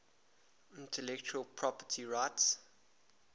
intellectual property rights